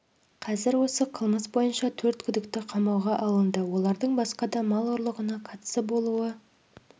қазір осы қылмыс бойынша төрт күдікті қамауға алынды олардың басқа да мал ұрлығына қатысы болуы